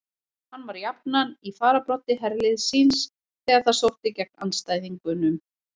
Hann var jafnan í fararbroddi herliðs síns þegar það sótti gegn andstæðingunum.